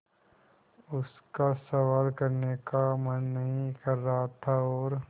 उसका सवाल करने का मन नहीं कर रहा था और